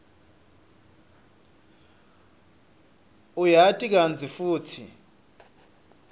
uyati kantsi futsi